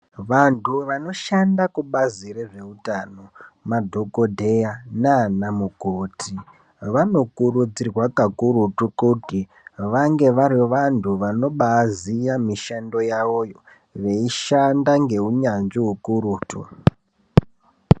Vantu vanoshanda kubazi rezvehutano madhokodheya nana mukoti vanokurudzirwa kakurutu kuti vange vari vantu vanobaziva mishando yavo veishanda ngehunyanzvi ukurutu.